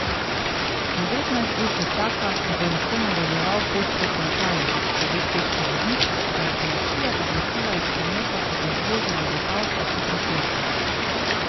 Devetnajst ur že čaka, da bo lahko nadaljeval pot proti Italiji, pove češki voznik, ki ga je policija izločila iz prometa ob izvozu na vipavsko hitro cesto.